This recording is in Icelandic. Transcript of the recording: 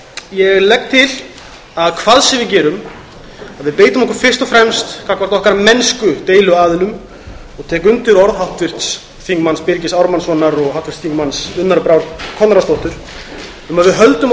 ég legg til að hvað sem við gerum beitum við okkur fyrst og fremst gagnvart okkar mennsku deiluaðilum og tek undir orð háttvirts þingmanns birgis ármannssonar og háttvirts þingmanns unnar brár konráðsdóttur um að við höldum